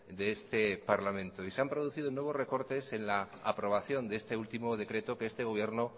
de este parlamento y se han producido nuevos recortes en la aprobación de este último decreto que este gobierno